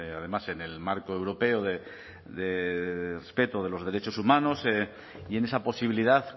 además en el marco europeo de respeto de los derechos humanos y en esa posibilidad